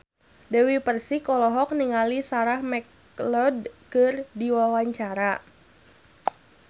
Dewi Persik olohok ningali Sarah McLeod keur diwawancara